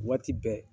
Waati bɛɛ